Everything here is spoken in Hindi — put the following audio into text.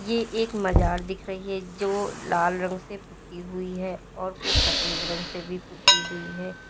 ये एक मजार दिख रही है जो लाल रंग से पुती हुई है और कुछ सफेद रंग से भी पुती हुई है।